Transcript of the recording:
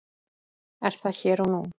Er það hér og nú?